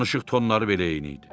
Danışıq tonları belə eyni idi.